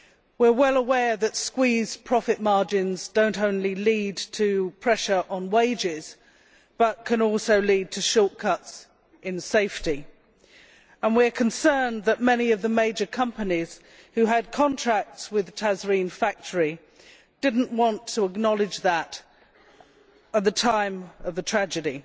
We are well aware that squeezed profit margins do not only lead to pressure on wages but can also lead to shortcuts in safety, and we are concerned that many of the major companies who had contracts with the Tazreen factory did not want to acknowledge that at the time of the tragedy,